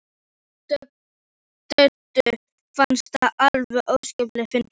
Döddu fannst þetta alveg óskaplega fyndið.